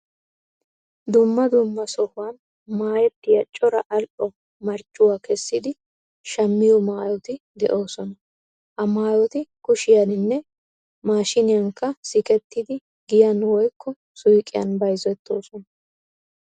Dumma dumma sohuwan maayettiya cora al"o marccuwa kessidi shammiyo maayoti de'oosona. Ha maayoti kushiyaninne maashiniyankka sikettidi giyan woykko suyqiyan bayzettoosona.